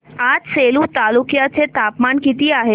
आज सेलू तालुक्या चे तापमान किती आहे